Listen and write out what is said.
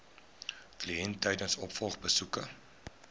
kliënt tydens opvolgbesoeke